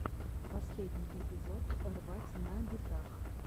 последний эпизод рвать на битах